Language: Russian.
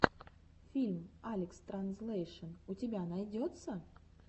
фильм алекстранзлэйшн у тебя найдется